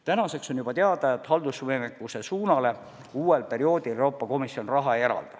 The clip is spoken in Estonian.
Tänaseks on juba teada, et haldusvõimekuse suunale uuel perioodil Euroopa Komisjon raha ei eralda.